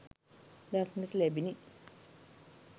දක්නට ලැබිණි